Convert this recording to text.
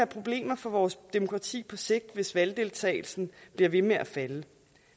problemer for vores demokrati på sigt hvis valgdeltagelsen bliver ved med at falde